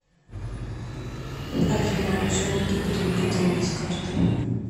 афина мошенники перевели деньги с карты